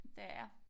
Det er jeg